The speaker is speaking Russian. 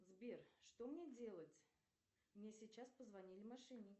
сбер что мне делать мне сейчас позвонили мошенники